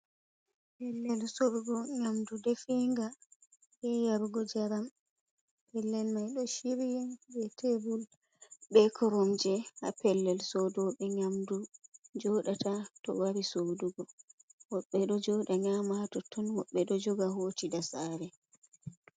Pellel, sorugo Nyamdu defiiga. be yarugo jaram, Pellel mai do chiryi be teebul be koromje ha pellel soroube yamdu jodata to wari sodugo woɓɓe do jooda nyama totton, woɓɓe bo do joga hootida sare.